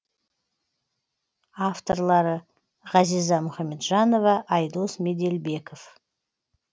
авторлары ғазиза мұхамеджанова айдос меделбеков